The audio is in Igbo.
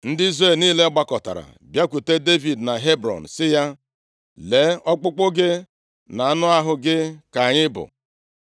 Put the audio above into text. Ndị Izrel niile gbakọtara bịakwute Devid na Hebrọn sị ya, “Lee, ọkpụkpụ gị na anụ ahụ gị ka anyị bụ.